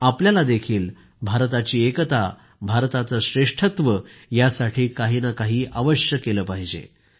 आपल्यालाही भारताची एकता भारताचं श्रेष्ठत्व यासाठी काही नं काही अवश्य केलं पाहिजे